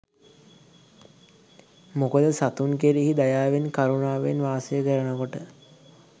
මොකද සතුන් කෙරෙහි දයාවෙන් කරුණාවෙන් වාසය කරනකොට